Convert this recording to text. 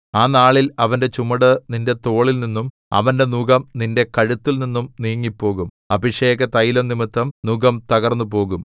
ആ നാളിൽ അവന്റെ ചുമട് നിന്റെ തോളിൽനിന്നും അവന്റെ നുകം നിന്റെ കഴുത്തിൽനിന്നും നീങ്ങിപ്പോകും അഭിഷേകതൈലം നിമിത്തം നുകം തകർന്നുപോകും